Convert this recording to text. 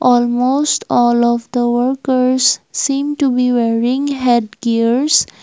almost all of the workers seem to be wearing head gears.